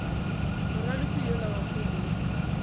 moraloki yola wa kgwele ya